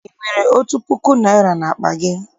I nwere otu puku naịra n'akpa gị?